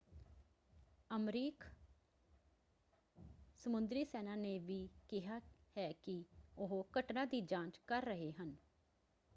ਅਮਰੀਕ ਸਮੁੰਦਰੀ ਸੈਨਾ ਨੇ ਵੀ ਕਿਹਾ ਹੈ ਕਿ ਉਹ ਘਟਨਾ ਦੀ ਜਾਂਚ ਕਰ ਰਹੇ ਹਨ।